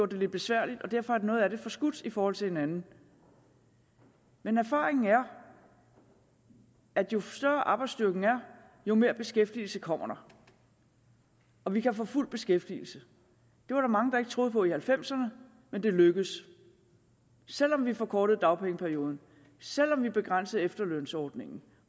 det lidt besværligt og derfor er noget af det forskudt i forhold til hinanden men erfaringen er at jo større arbejdsstyrken er jo mere beskæftigelse kommer der og vi kan få fuld beskæftigelse det var der mange der ikke troede på i nitten halvfemserne men det lykkedes selv om vi forkortede dagpengeperioden selv om vi begrænsede efterlønsordningen